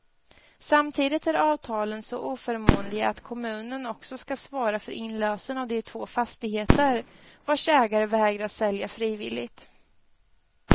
Samtidigt är avtalen så oförmånliga att kommunen också skall svara för inlösen av de två fastigheter, vars ägare vägrar sälja frivilligt.